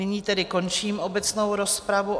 Nyní tedy končím obecnou rozpravu.